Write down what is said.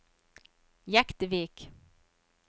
Jektvik